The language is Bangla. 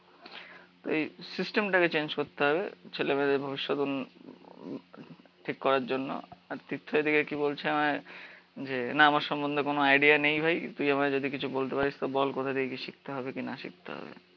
তো এই সিস্টেমটাকে চেঞ্জ করতে হবে ছেলেমেয়েদের ভবিষৎ উন ঠিক করার জন্য। আর তীর্থ এদিকে কি বলছে আমায় যে, না আমার সম্বন্ধে কোনো আইডিয়া নেই ভাই, তুই আমায় যদি কিছু বলতে পারিস তো বল কোথা দিয়ে কি শিখতে হবে কি না শিখতে হবে